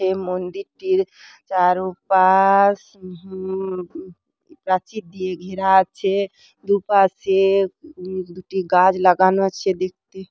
মান্দিরটির চারুপা-আ-আশ হু হু প্রাচীর দিয়ে ঘেরা আছে। দুপাশে দুটি গাছ লাগানো আছে দেখতি--